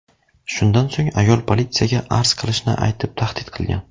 Shundan so‘ng ayol politsiyaga arz qilishini aytib tahdid qilgan.